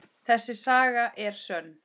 Þessi saga er sönn.